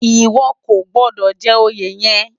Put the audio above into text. Iwò kó gbòdò jè óyé yèn